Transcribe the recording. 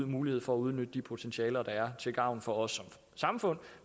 mulighed for at udnytte de potentialer der er til gavn for os som samfund